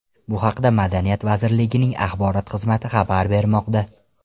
Bu haqda Madaniyat vazirligining axborot xizmati xabar bermoqda .